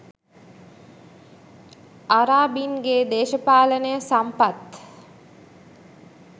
අරාබින්ගෙ දේශපාලනය සම්පත්